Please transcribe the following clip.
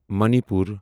منی پور